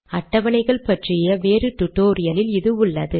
அட்டவணைகள் பற்றிய வேறு டுடோரியலில் இது உள்ளது